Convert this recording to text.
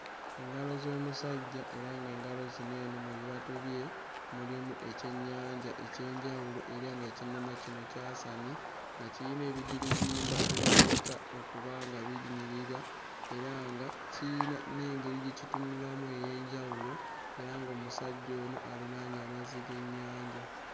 Engalo z'omusajja era ng'engalo zino eno mu bibatu bye mulimu ekyennyanja eky'enjawulo era ng'ekyennyanja kino kyasamye nga kirina ebigirigimba ebirabika okuba nga binyirira era nga kiyina n'engeri gye kitunulamu ey'enjawulo era ng'omusajja ono alinaanye amazzi g'ennyanja.